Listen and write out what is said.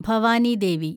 Bhavani Devi